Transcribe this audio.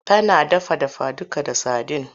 Tana dafa dafaduka da sadin.